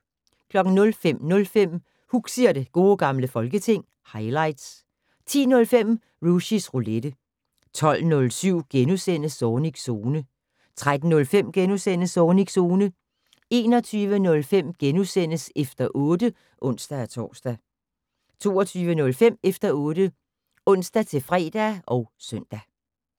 05:05: Huxi og det gode gamle folketing - highlights 10:05: Rushys Roulette 12:07: Zornigs Zone * 13:05: Zornigs Zone * 21:05: Efter 8 *(ons-tor) 22:05: Efter 8 (ons-fre og søn)